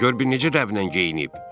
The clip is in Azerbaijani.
Gör bir necə dəblə geyinib!